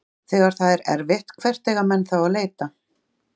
Þegar það er erfitt, hvert eiga menn þá að leita?